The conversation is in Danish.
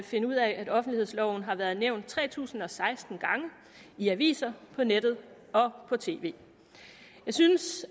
finde ud af at offentlighedsloven har været nævnt tre tusind og seksten gange i aviser på nettet og på tv jeg synes